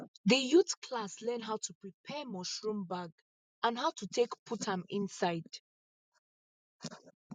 the youth class learn how to prepare mushroom bag and how to take put am inside